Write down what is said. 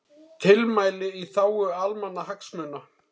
Tilmæli í þágu almannahagsmuna